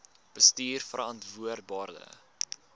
bestuurverantwoordbare